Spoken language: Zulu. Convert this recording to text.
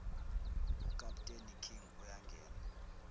ukaputeni king uyangena